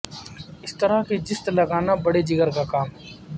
اس طرح کی جست لگانا بڑےجگر کا کام ہے